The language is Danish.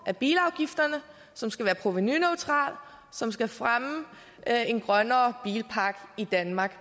af bilafgifterne som skal være provenuneutral og som skal fremme en grønnere bilpark i danmark